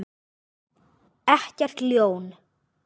Ekkert ljón.